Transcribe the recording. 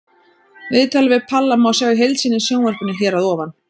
Viðtalið við Palla má sjá í heild sinni í sjónvarpinu hér að ofan.